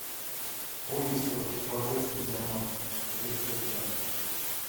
в поисках божественного рецепта